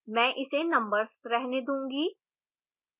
मैं इसे numbers रहने दूंगी